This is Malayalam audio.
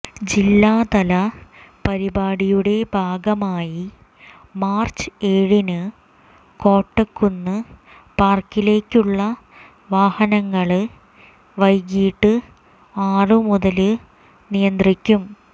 ജില്ലാതല പരിപാടിയുടെ ഭാഗമായി മാര്ച്ച് ഏഴിന് കോട്ടക്കുന്ന് പാര്ക്കിലേക്കുള്ള വാഹനങ്ങള് വൈകീട്ട് ആറു മുതല് നിയന്ത്രിക്കും